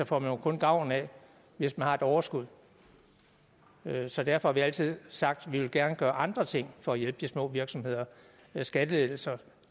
får man jo kun gavn af hvis man har et overskud så derfor har vi altid sagt at vi gerne vil gøre andre ting for at hjælpe de små virksomheder skattelettelser